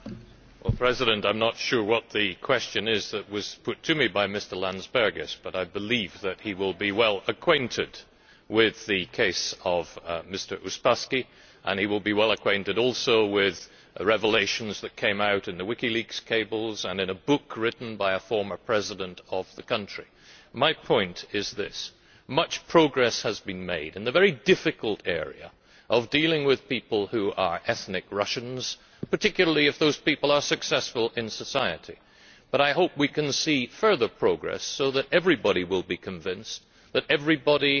Mr Landsbergis, I am not sure if I have understood your question, but I believe that you will be well acquainted with the case of Mr Uspaskich, and you will be well acquainted also with the revelations that came out in the WikiLeaks cables and in a book written by a former President of the country. My point is this much progress has been made in the very difficult area of dealing with people who are ethnic Russians, particularly if those people are successful in society, but I hope we can see further progress so that everybody will be convinced that everybody